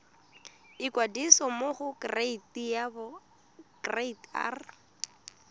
ikwadisa mo go kereite r